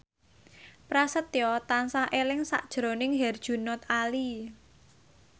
Prasetyo tansah eling sakjroning Herjunot Ali